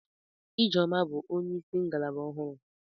Ijeoma bụ onyeisi ngalaba ọhụrụ.